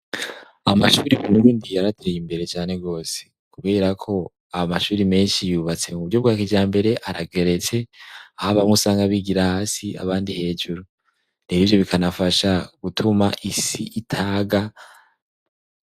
Amashure mu Burundi yarateye imbere cane gose. Kubera ko amashure menshi yubatse mu buryo bwa kijambere, arageretse, aho bamwe usanga bigira hasi abandi hejuru. Rero ivyo bikanafasha gutuma isi itaga.